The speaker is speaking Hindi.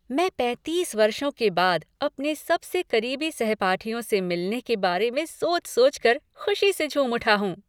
मैं पैंतीस वर्षों के बाद अपने सबसे करीबी सहपाठियों से मिलने के बारे में सोच सोच कर खुशी से झूम उठा हूँ।